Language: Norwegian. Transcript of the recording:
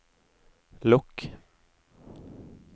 lukk